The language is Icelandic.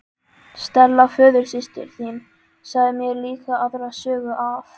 Stella föðursystir þín sagði mér líka aðra sögu af